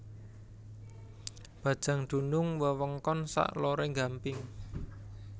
Bajang dunung wewengkon sak lore Gampeng